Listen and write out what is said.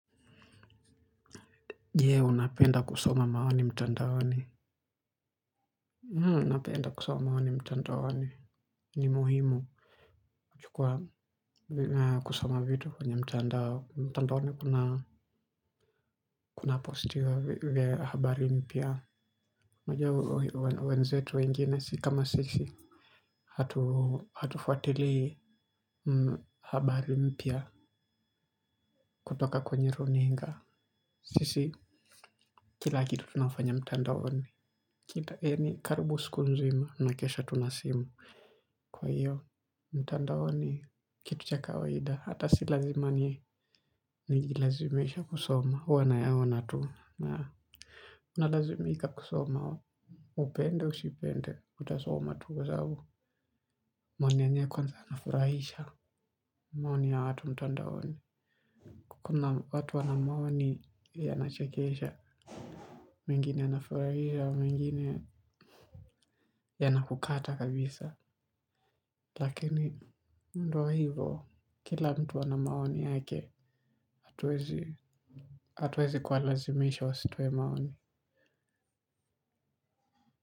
Je unapenda kusoma maoni mtandaoni? Napenda kusoma maoni mtandaoni. Ni muhimu juu kwa kusoma vitu kwenye mtandao mtandaoni kuna kuna postiwa habari mpya unajua wenzetu wengine si kama sisi. Hatufuatili habari mpya kutoka kwenye runinga. Sisi kila kitu tunafanya mtandaoni. Kila, yani karibu siku nzima nakesha tu na simu. Kwa hiyo, mtandaoni, kitu cha kawaida, hata si lazima ni nijilazimishe kusoma, huwa nayaona tu, na unalazimika kusoma. Upende usipende, utasoma tu kwa sababu maoni yenyewe kwanza yanafurahisha maoni ya watu mtandaoni. Kuna watu wana maoni yanachekesha. Mengine anafurahisha mengine yanakukata kabisa. Lakini ndo hivo kila mtu ana maoni yake hatuwezi kuwalazimisha wasitoe maoni.